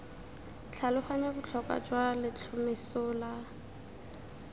tlhaloganya botlhokwa jwa letlhomeso la